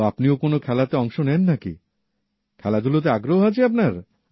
তা আপনিও কোন খেলাতে অংশ নেন নাকিখেলাধুলাতে আগ্রহ আছে আপনার